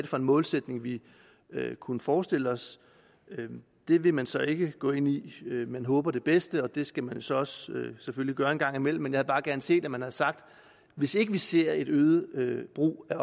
for en målsætning vi kunne forestille os det vil man så ikke gå ind i man håber det bedste og det skal man selvfølgelig så også gøre en gang imellem men jeg havde bare gerne set at man havde sagt hvis ikke vi ser en øget brug af